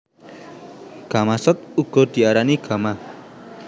Gamasot uga diarani gama